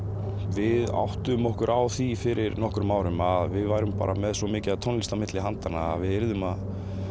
við áttuðum okkur á því fyrir nokkrum árum að við vorum með svo mikið af tónlist milli handanna að við yrðum að